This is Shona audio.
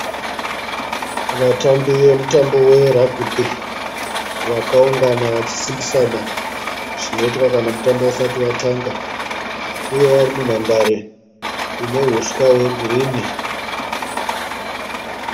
Vatambi vemutambo we ragibhi vakaungana vachisimbisana zvinoitwa kana mutambo usati watange uye vari munhandare ine huswa hwe girini.